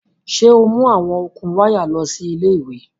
Ṣe o mu awọn okun waya lọ si ile-iwe